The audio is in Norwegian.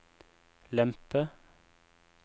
lempe